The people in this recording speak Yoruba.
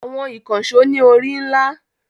Àwọn ìkànṣó ní orí ńlá.